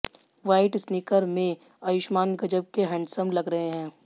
white sneaker में आयुष्मान गजब के हैंडसम लग रहे हैं